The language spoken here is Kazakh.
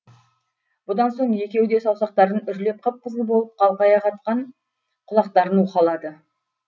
бұдан соң екеуі де саусақтарын үрлеп қып қызыл болып қалқая қатқан құлақтарын уқалады